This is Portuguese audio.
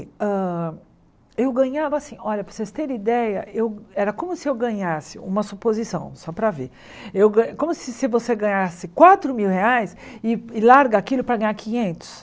Hã eu ganhava assim, olha, para vocês terem ideia, era como se eu ganhasse, uma suposição, só para ver, eu ga como se você ganhasse quatro mil reais e larga aquilo para ganhar quinhentos.